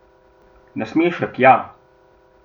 Nasmešek, ja!